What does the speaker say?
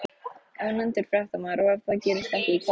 Ónefndur fréttamaður: Og ef það gerist ekki, hvað þá?